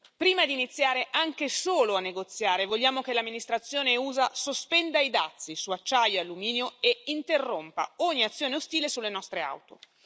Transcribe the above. Prima di iniziare anche solo a negoziare, vogliamo che l'amministrazione USA sospenda i dazi su acciaio e alluminio e interrompa ogni azione ostile sulle nostre auto.